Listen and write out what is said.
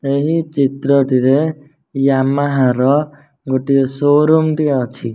ଏହି ଚିତ୍ରଟିରେ ୟାମହା ର ଗୋଟିଏ ସୋ-ରୁମ୍ ଟିଏ ଅଛି।